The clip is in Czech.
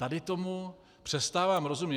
Tady tomu přestávám rozumět.